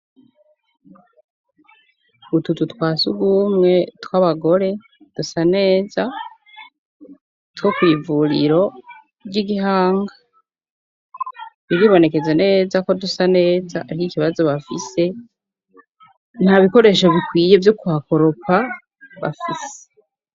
Utuzu twasugumwe tw'abagore dusa neza two kw'ivuriro ry'igihanga biribonekeza neza ko dusa neza ariko ikibazo bafise nta bikoresho bikwiye vyo kuhakoropa bafise.